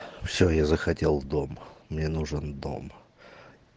все я захотел дом мне нужен дом